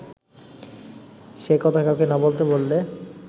সে কথা কাউকে না বলতে বললে